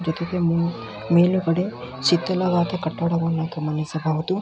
ಪ್ರತಿಭೆ ಮೆನು ಮೇಲುಗಡೆ ಶೀತಲವಾದ ಕಟ್ಟಡವನ್ನ ಗಮನಿಸಬಹುದು.